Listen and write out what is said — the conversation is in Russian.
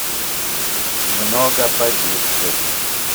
много погибших